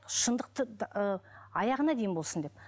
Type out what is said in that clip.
шындықты аяғына дейін болсын деп